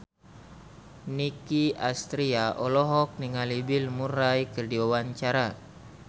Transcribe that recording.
Nicky Astria olohok ningali Bill Murray keur diwawancara